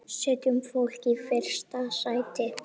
Setjum fólkið í fyrsta sæti.